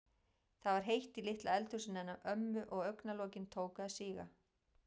Það var heitt í litla eldhúsinu hennar ömmu og augna- lokin tóku að síga.